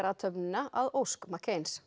minningarathöfnina að ósk